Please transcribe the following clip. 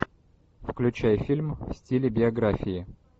включай фильм в стиле биографии